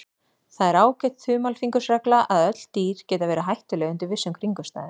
Það er ágæt þumalfingursregla að öll dýr geta verið hættuleg undir vissum kringumstæðum.